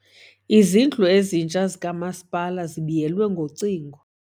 Izindlu ezintsha zikamasipala zibiyelwe ngocingo.